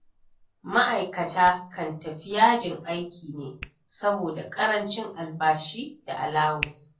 Ma'aikata kan tafi yajin aiki ne, saboda ƙarancin albashi da alawus.